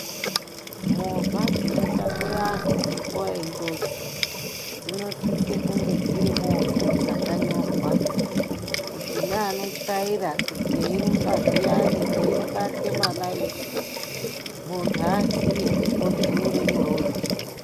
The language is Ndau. Movha dzinotakura anhu munguva yenjodzi dzinosise kunge dziri movha dzakanyorwa kuti neanotyaira eyirumba zviyani ibake malights, muntu aziye odzuure murodhi.